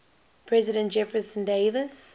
president jefferson davis